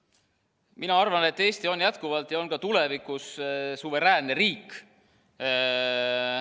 Mina arvan, et Eesti on jätkuvalt ja on ka tulevikus suveräänne riik.